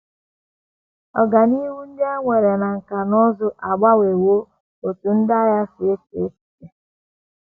Ọganihu ndị e nwere na nkà na ụzụ agbanwewo otú ndị agha si eche echiche.